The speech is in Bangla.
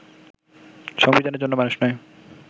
সংবিধানের জন্য মানুষ নয়